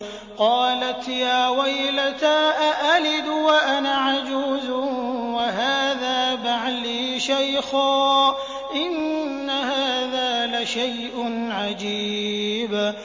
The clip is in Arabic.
قَالَتْ يَا وَيْلَتَىٰ أَأَلِدُ وَأَنَا عَجُوزٌ وَهَٰذَا بَعْلِي شَيْخًا ۖ إِنَّ هَٰذَا لَشَيْءٌ عَجِيبٌ